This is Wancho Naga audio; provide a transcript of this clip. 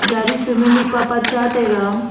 gari sumimi mihpapa cha tega.